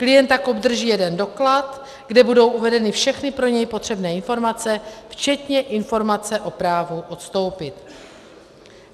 Klient tak obdrží jeden doklad, kde budou uvedeny všechny pro něj potřebné informace včetně informace o právu odstoupit.